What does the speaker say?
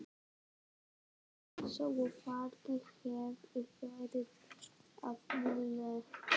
Mér leið eins og fargi hefði verið af mér létt.